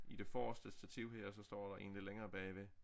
I det forreste stativ her og så står der en lidt længere bagved